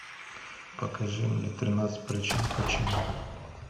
покажи мне тринадцать причин почему